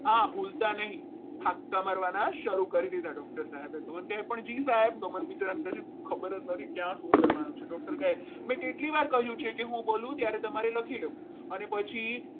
હા ભૂલતા નહીં હપ્તા ભરવાના શરૂ કરી દીધા છે doctor કહેજે સાહેબ ગમન બિચારાને કશું ખબર જ નથી ક્યાં શું કરવાનું છે doctor કહે મેં કેટલી વાર કહ્યું છે કે હું બોલું ત્યારે તમારે લખી લેવું અને પછી